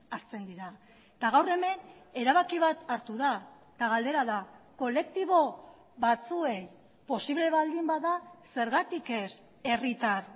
hartzen dira eta gaur hemen erabaki bat hartu da eta galdera da kolektibo batzuei posible baldin bada zergatik ez herritar